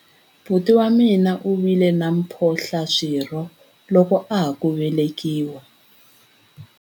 Buti wa mina u vile na mphohlaswirho loko a ha ku velekiwa.